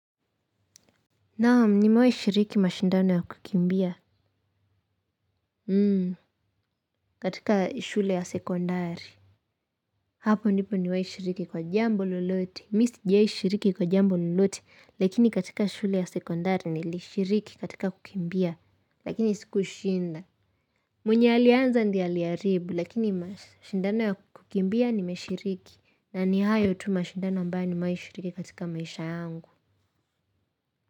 Naam nimewai shiriki mashindano ya kukimbia Hmm katika shule ya sekondari hapo ndipo nimewai shiriki kwa jambo lolote mi sjai shiriki kwa jambo lolote lakini katika shule ya sekondari nilishiriki katika kukimbia lakini sikushinda. Mwenye aliyeanza ndiye aliharibu lakini mashindano ya kukimbia nimeshiriki na ni hayo tu mashindano ambaye nimewai shiriki katika maisha yangu.